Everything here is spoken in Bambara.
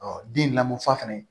den lamɔnfa fɛnɛ